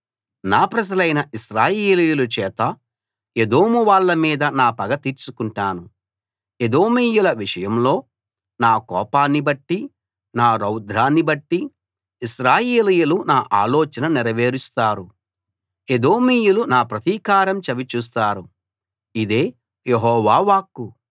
నా ప్రజలైన ఇశ్రాయేలీయుల చేత ఎదోము వాళ్ళ మీద నా పగ తీర్చుకుంటాను ఎదోమీయుల విషయంలో నా కోపాన్ని బట్టి నా రౌద్రాన్ని బట్టి ఇశ్రాయేలీయులు నా ఆలోచన నెరవేరుస్తారు ఎదోమీయులు నా ప్రతీకారం చవి చూస్తారు ఇదే యెహోవా వాక్కు